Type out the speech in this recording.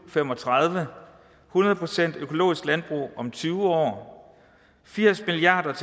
fem og tredive hundrede procent økologisk landbrug om tyve år firs milliard